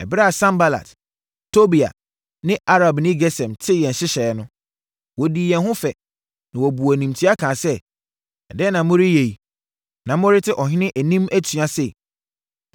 Ɛberɛ a Sanbalat, Tobia ne Arabni Gesem tee yɛn nhyehyɛeɛ no, wɔdii yɛn ho fɛ, na wɔbuu animtia kaa sɛ, “Ɛdeɛn na moreyɛ yi, na morete ɔhene anim atua sei?”